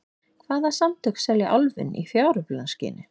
Hvaða samtök selja Álfinn í fjáröflunarskyni?